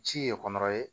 Ci ye kɔnɔ ye